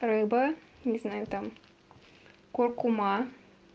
рыба не знаю там куркума